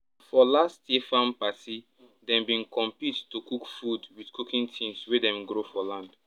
for last year farm party dem bin compete to cook food with cooking things wey dem grow for land